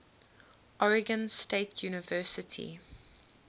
oregon state university